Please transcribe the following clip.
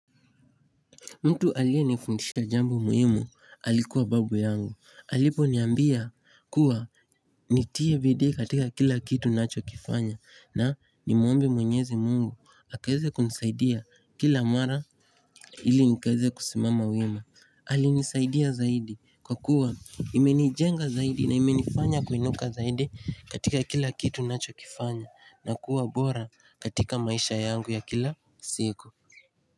Mtu aliyenifundisha jambo muhimu alikuwa babu yangu aliponiambia kuwa nitie bidii katika kila kitu nachokifanya na nimwombe mwenyezi mungu akaeze kunisaidia kila mara ili nikaeze kusimama wima Alinisaidia zaidi kwa kuwa imenijenga zaidi na imenifanya kuinuka zaidi katika kila kitu nachokifanya na kuwa bora katika maisha yangu ya kila siku.